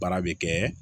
Baara bɛ kɛ